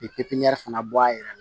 pipniyɛri fana bɔ a yɛrɛ la